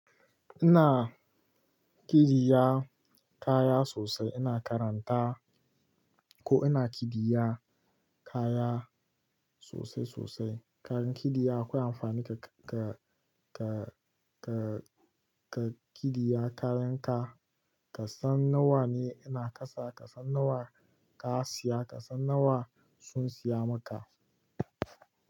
Ina kidiya kaya sosai, ina karanta ko ina kidiya kaya sosai sosai. Karan kidiya akwai amfani ka, ka, ka, ka, ka kidiya kayan ka. Kasan nawa ne ina kasa, kasan nawa ka siya, kasan nawa sun siya maka.